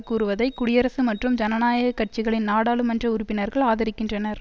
கூறுவதை குடியரசு மற்றும் ஜனநாயக கட்சிகளின் நாடாளுமன்ற உறுப்பினர்கள் ஆதரிக்கின்றனர்